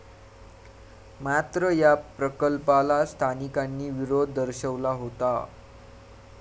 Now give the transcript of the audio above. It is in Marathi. मात्र या प्रकल्पाला स्थानिकांनी विरोध दर्शवला होता.